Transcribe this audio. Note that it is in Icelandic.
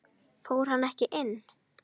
Fór hann ekki inn?